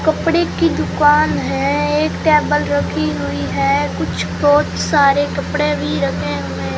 कपड़े की दुकान है एक टेबल रखी हुई है कुछ बहुत सारे कपड़े भी रखे हुए--